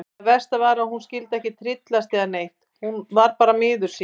Það versta var að hún skyldi ekki tryllast eða neitt, hún var bara miður sín.